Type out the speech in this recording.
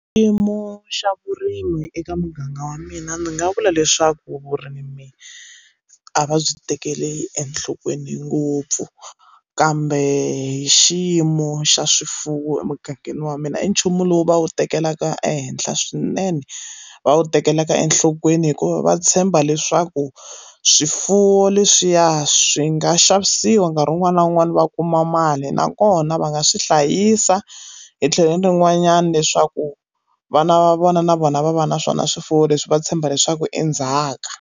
Xiyimo xa vurimi eka muganga wa mina ndzi nga vula leswaku vurimi a va byi tekeli enhlokweni ngopfu kambe hi xiyimo xa swifuwo emugangeni wa mina i nchumu lowu va wu tekelaka ehenhla swinene va wu tekelaka enhlokweni hikuva va tshemba leswaku swifuwo leswiya swi nga xavisiwa nkarhi wun'wana na wun'wana va kuma mali nakona va nga swi hlayisa hi tlhelo rin'wanyana leswaku vana va vona na vona va va na swona swifuwo leswi va tshemba leswaku endzhaka.